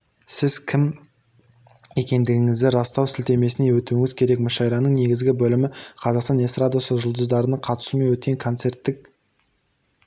сіз кім екендігіңізді растау сілтемесіне өтуіңіз керек мүшәйраның негізгі бөлімі қазақстан эстрадасы жұлдыздарының қатысуымен өткен концерттік